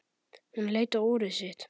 Hún leit á úrið sitt.